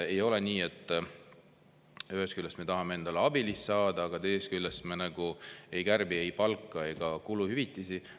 Ei ole nii, et ühest küljest me tahame endale abilist saada, aga teisest küljest me ei kärbi ei palka ega kuluhüvitisi.